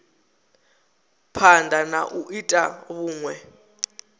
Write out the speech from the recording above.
phanda na u ita vhunwe